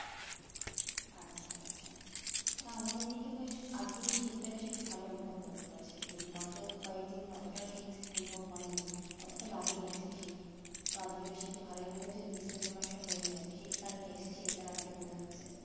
না মানে এদিকে বেশ আজকেই শীত টা বেশ একটু ভালো অনুভব করতে পারছি গত কয়েকদিন অতটা শীত অনুভব হয়নি অতটা লাগেনি actually শীত তো আজকের এই শীতটা ভালোই মনে হচ্ছে december মাস টা পরেই গেছে শীত কালটা এসেছে এটা মনে হচ্ছে